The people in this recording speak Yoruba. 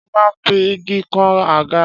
Ṣé ó máa ń fi igi kan àga?